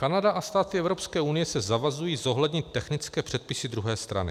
Kanada a státy Evropské unie se zavazují zohlednit technické předpisy druhé strany.